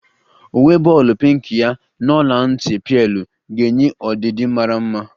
Uwe bọọlu pinki ya n'ọla nti pealu ga-enye ọdidi mara mma